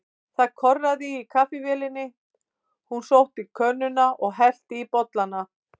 Það korraði í kaffivélinni, hún sótti könnuna og hellti í bollana.